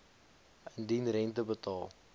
indien rente betaal